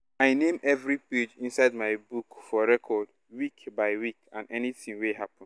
name every page inside my book for record week by week and anytin wey happen